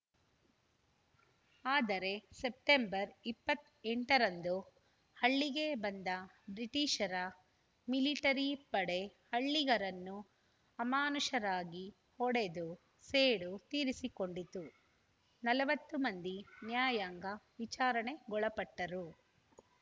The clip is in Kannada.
ಆದರೆ ಸೆಪ್ಟೆಂಬರ್‌ ಇಪ್ಪತ್ತ್ ಎಂಟು ರಂದು ಹಳ್ಳಿಗೆ ಬಂದ ಬ್ರಿಟಿಷರ ಮಿಲಿಟರಿ ಪಡೆ ಹಳ್ಳಿಗರನ್ನು ಅಮಾನುಷರಾಗಿ ಹೊಡೆದು ಸೇಡು ತೀರಿಸಿಕೊಂಡಿತು ನಲವತ್ತು ಮಂದಿ ನ್ಯಾಯಾಂಗ ವಿಚಾರಣೆಗೊಳಪಟ್ಟರು